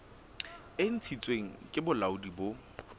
e ntshitsweng ke bolaodi bo